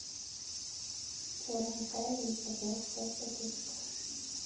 черный чай ричард двадцать пять пакетиков